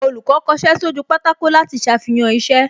Olùkọ́ kọṣẹ́ sójú pátákó láti ṣàfihàn iṣẹ́